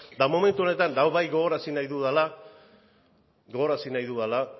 eta momentu honetan eta hau bai gogoarazi nahi dudala